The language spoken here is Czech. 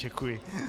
Děkuji.